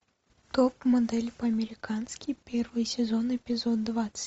топ модель по американски первый сезон эпизод двадцать